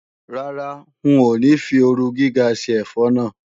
Rárá, ń ò ní fi ooru gíga ṣe ẹ̀fọ́ náà.